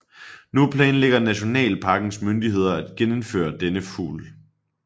Nu planlægger nationalparkens myndigheder at genindføre denne fugl